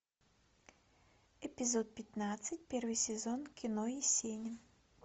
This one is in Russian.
эпизод пятнадцать первый сезон кино есенин